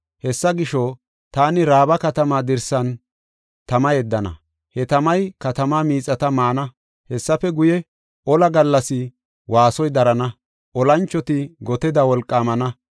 Hessa gisho, taani Raaba katamaa dirsan tama yeddana; he tamay katamaa miixata maana. Hessafe guye, olaa gallas waasoy darana; olanchoti goteda wolqaamana.